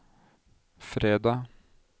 fredag